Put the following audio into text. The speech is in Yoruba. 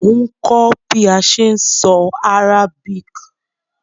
Mo n kó bi a se n so Arabic